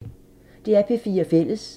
DR P4 Fælles